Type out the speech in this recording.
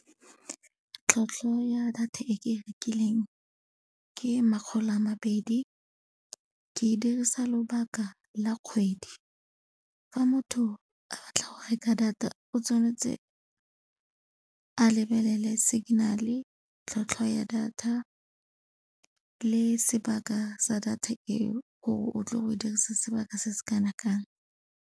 Tlhwatlhwa ya data e ke e rekileng ke makgolo a mabedi ke dirisa lobaka la kgwedi. Fa motho a batla go reka data o tshwanetse a lebelele signal-e, tlhwatlhwa ya data le sebaka sa data eo gore o tlo go e dirisa sebaka se se kana kang.